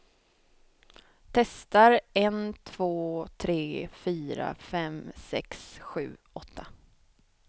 Testar en två tre fyra fem sex sju åtta.